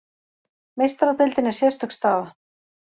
Meistaradeildin er sérstök staða.